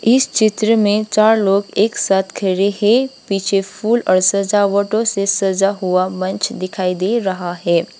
इस चित्र में चार लोग एक साथ खड़े है पीछे फूल और सजावटो से सजा हुआ मंच दिखाई दे रहा है।